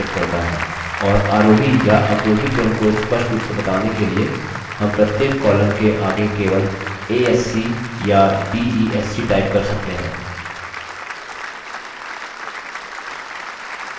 और आरोही या अवरोही क्रम को स्पष्ट रूप से बताने के लिए हम प्रत्येक column के आगे केवल a s c या d e s c type कर सकते हैं